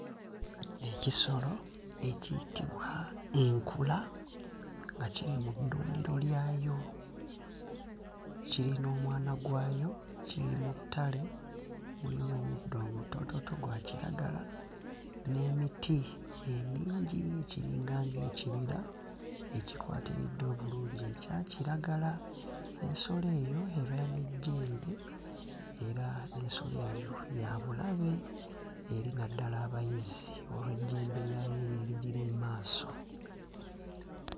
Ekisolo ekiyitibwa enkula nga kiri mu ddundiro lyayo. Kiri n'omwana gwayo, kiri mu ttale mulimu omuddo omutoototo gwa kiragala n'emiti emingi. Kiringa ng'ekibira ekikwatiridde obulungi ekya kiragala. Ensolo eyo ebeera n'ejjembe era ensolo eyo ya bulabe eri naddala abayizzi olw'ejjembe lyayo eryo erigiri mu maaso.